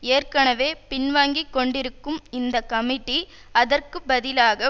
ஏற்கனவே பின்வாங்கிக்கொண்டிருக்கும் இந்த கமிட்டி அதற்கு பதிலாக